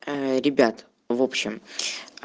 а ребят в общем